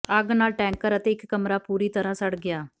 ਅੱਗ ਨਾਲ ਟੈਂਕਰ ਅਤੇ ਇਕ ਕਮਰਾ ਪੂਰੀ ਤਰ੍ਹਾਂ ਸੜ ਗਿਆ